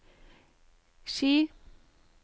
Ski